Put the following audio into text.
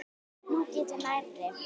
Þú getur nærri.